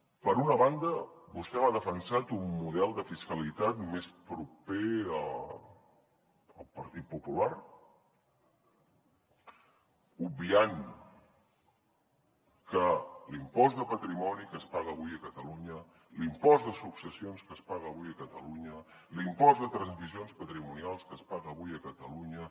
per una banda vostè m’ha defensat un model de fiscalitat més proper al partit popular obviant que l’impost de patrimoni que es paga avui a catalunya l’impost de successions que es paga avui a catalunya l’impost de transmissions patrimonials que es paga avui a catalunya